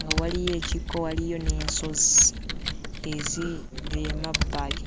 nga waliyo ekikko, waliyo n'ensozi eziri emabbali.